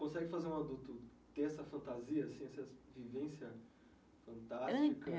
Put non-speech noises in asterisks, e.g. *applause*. Consegue fazer um adulto ter essa fantasia, essa *unintelligible* vivência fantástica, *unintelligible*